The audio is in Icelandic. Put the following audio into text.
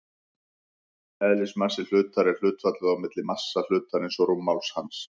Eðlismassi hlutar er hlutfallið á milli massa hlutarins og rúmmáls hans.